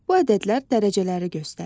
Bu ədədlər dərəcələri göstərir.